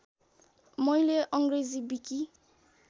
मैले अङ्ग्रेजी विकि